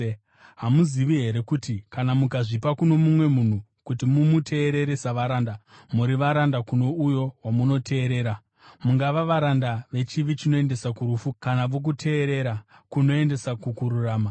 Hamuzivi here kuti kana mukazvipa kuno mumwe munhu kuti mumuteerere savaranda, muri varanda kuno uyo wamunoteerera, mungava varanda vechivi, chinoendesa kurufu kana vokuteerera, kunoendesa kukururama?